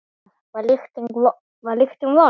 Kristján Már: Var lyktin vond?